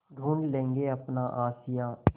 ढूँढ लेंगे अपना आशियाँ